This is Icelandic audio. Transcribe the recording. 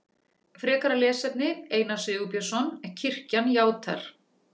Frekara lesefni Einar Sigurbjörnsson: Kirkjan játar.